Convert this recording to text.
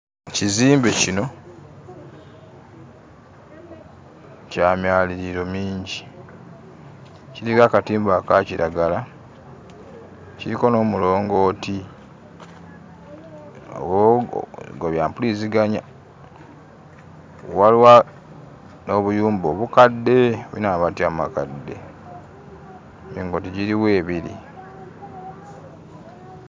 Ekizimbe kino kya myaliiriro mingi, kiriko akatimba aka kiragala, kiriko n'omulongooti, o gwa bya mpuliziganya. Waliwo n'obuyumba obukadde bulina amabaati amakadde, emirongooti giriwo ebiri.